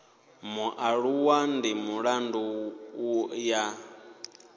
mualuwa ndi mulandu u ya